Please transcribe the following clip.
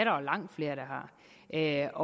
jo langt flere der